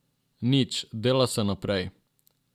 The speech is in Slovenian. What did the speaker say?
Nič, dela se naprej.